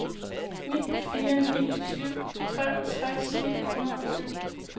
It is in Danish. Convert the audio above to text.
ni fire ni syv treogtres ni hundrede og syv